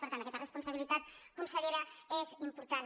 per tant aquesta responsabilitat consellera és important